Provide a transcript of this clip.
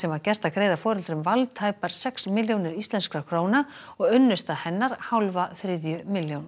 var gert að greiða foreldrum Wall tæpar sex milljónir íslenskra króna og unnusta hennar hálfa þriðju milljón